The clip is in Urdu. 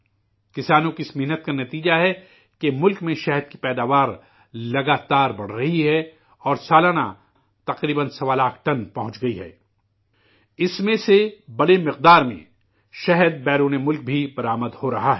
کسانوں کی اس محنت کا نتیجہ ہے کہ ملک میں شہد کی پیداوار لگاتار بڑھ رہی ہے، اور سالانہ، تقریبا سوا لاکھ ٹن پہنچا ہے، اس میں سے، بڑی مقدار میں، شہد، بیرون ممالک میں ایکسپورٹ بھی ہو رہا ہے